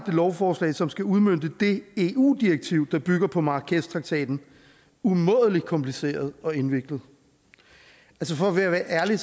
lovforslag som skal udmønte det eu direktiv der bygger på marrakeshtraktaten umådelig kompliceret og indviklet for at være ærlig